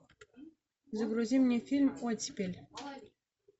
загрузи мне фильм оттепель